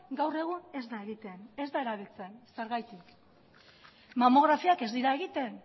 gaur egun ez da egiten ez da erabiltzen zergatik mamografiak ez dira egiten